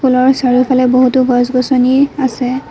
স্কুলৰ চাৰিওফালে বহুতো গছ গছনি আছে।